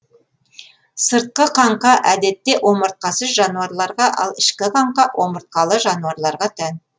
сыртқы қаңқа әдетте омыртқасыз жануарларға ал ішкі қаңқа омыртқалы жануарларға тән